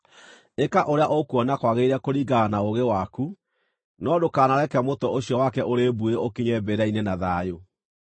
Ĩka ũrĩa ũkuona kwagĩrĩire kũringana na ũũgĩ waku, no ndũkanareke mũtwe ũcio wake ũrĩ mbuĩ ũkinye mbĩrĩra-inĩ na thayũ.